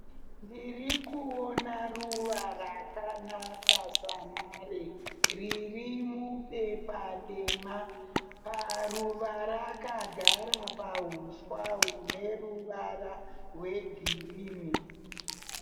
Ndiri kuona ruva rakanaka samare. Riri mubepa dema. Paruva rakagara pahuswa hune ruvara rwegirinhi.